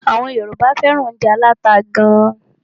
Àwọn Yorùbá fẹ́ràn óúnjẹ aláta gán.